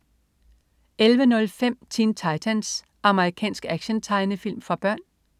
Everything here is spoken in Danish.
11.05 Teen Titans. Amerikansk actiontegnefilm for børn